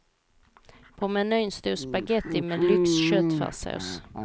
På menyn stod spagetti med lyxköttfärssås.